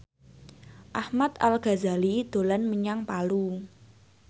Ahmad Al Ghazali dolan menyang Palu